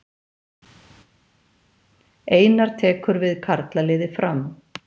Einar tekur við karlaliði Fram